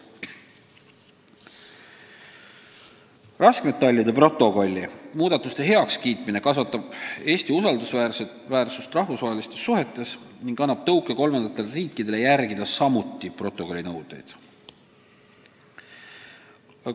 Raskmetallide protokolli muudatuste heakskiitmine kasvatab Eesti usaldusväärsust rahvusvahelistes suhetes ning annab tõuke kolmandatele riikidele samuti protokolli nõudeid järgida.